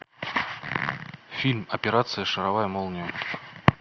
фильм операция шаровая молния